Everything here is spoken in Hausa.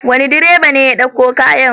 Wane direba ne ya ɗauko kayan?